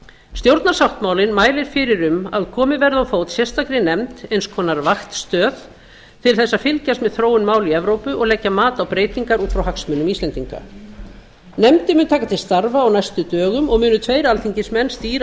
stjórnarsáttmálinn mælir fyrir um að komið verði á fót sérstakri nefnd eins konar vaktstöð til að fylgjast með þróun mála í evrópu og leggja mat á breytingar út frá hagsmunum íslendinga nefndin mun taka til starfa á næstu dögum og munu tveir alþingismenn stýra